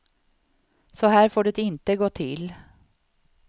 Så här får det inte gå till.